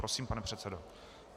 Prosím, pane předsedo.